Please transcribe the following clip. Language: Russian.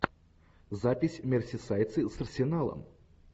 запись мерсисайдцы с арсеналом